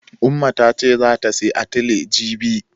Umma ta ce zata sayi atile jibi.